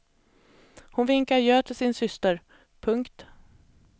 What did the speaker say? Hon vinkade adjö till sin syster. punkt